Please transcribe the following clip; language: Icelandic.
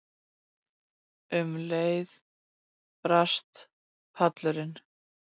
Um leið brast pallurinn.